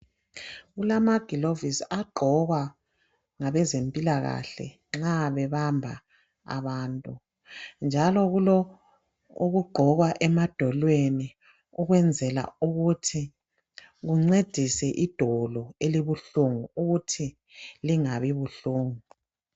Kulamagilovisi agqokwa ngabezempilakahle nxa bebamba abantu. Njalo kulokugqokwa emadolonweni ukwenzela ukuthi kuncedise idolo elibuhlungu ukuthi lingabi buhlungu.